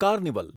carnival